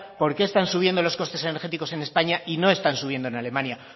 por qué están subiendo los costes energéticos en españa y no están subiendo en alemania